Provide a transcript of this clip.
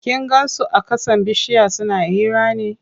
Kin gan su a ƙasan bishiya suna hira ne?